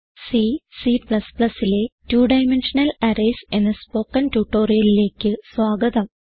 C C ലെ two dimensional arrays എന്ന spoken ട്യൂട്ടോറിയലിലേക്ക് സ്വാഗതം